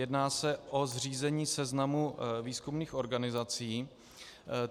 Jedná se o zřízení seznamu výzkumných organizací.